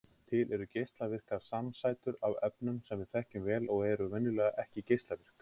Til eru geislavirkar samsætur af efnum sem við þekkjum vel og eru venjulega ekki geislavirk.